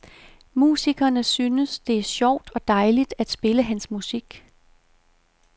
Musikerne synes, det er sjovt og dejligt at spille hans musik.